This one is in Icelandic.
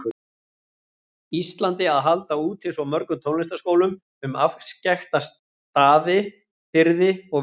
Íslandi að halda úti svo mörgum tónlistarskólum um afskekkta firði og víkur.